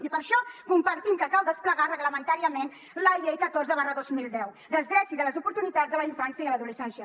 i per això compartim que cal desplegar reglamentàriament la llei catorze dos mil deu dels drets i de les oportunitats de la infància i l’adolescència